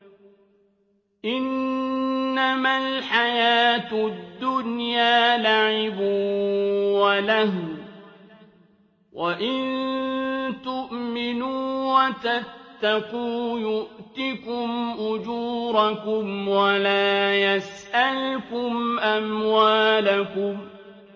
إِنَّمَا الْحَيَاةُ الدُّنْيَا لَعِبٌ وَلَهْوٌ ۚ وَإِن تُؤْمِنُوا وَتَتَّقُوا يُؤْتِكُمْ أُجُورَكُمْ وَلَا يَسْأَلْكُمْ أَمْوَالَكُمْ